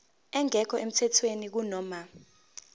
engekho emthethweni kunoma